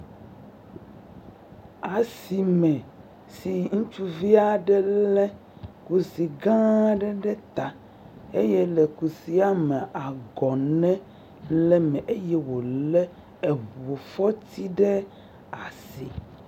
Asime si ŋutsuvi aɖe lé kusi gãa aɖe ɖe ta, eye le kusia mea, agɔnɛ le eme eye wòlé eŋufɔti ɖe asi.